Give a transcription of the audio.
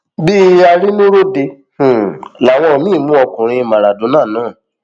bíi arínúròde um làwọn míín mú ọkùnrin maradona náà